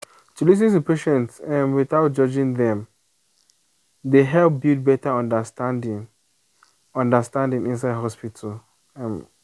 to lis ten to patient um without judging dem dey help build better understanding understanding inside hospital. um